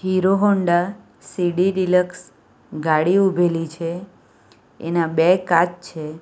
Hero Honda C D deluxe ગાડી ઉભેલી છે એના બે કાચ છે.